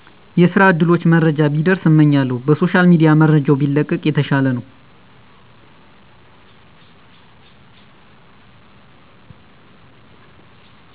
የስራ እድሎች መረጃ ቢደርስ እመኛለሁ። በሶሻል ሚድያ መረጃው ቢለቀቅ የተሻለ ነው።